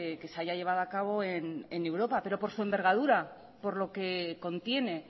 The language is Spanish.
que se haya llevado a cabo en europa pero por su envergadura por lo que contiene